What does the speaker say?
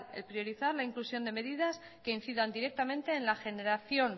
el priorizar la inclusión de medidas que incidan directamente en la generación